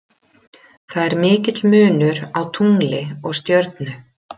Efnið sem keilan er gerð úr þarf að vera stíft og létt.